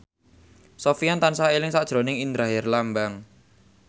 Sofyan tansah eling sakjroning Indra Herlambang